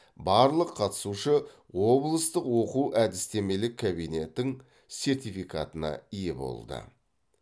барлық қатысушы облыстық оқу әдістемелік кабинетің сертификатына ие болды